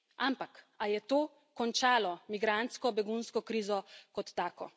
Ampak, ali je to končalo migrantsko begunsko krizo kot tako?